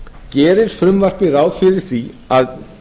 gerir frumvarpið ráð fyrir því að